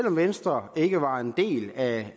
om venstre ikke var en del af